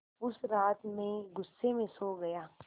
उस रात मैं ग़ुस्से में सो गया